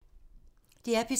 DR P3